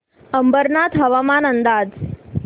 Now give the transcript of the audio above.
अंबरनाथ हवामान अंदाज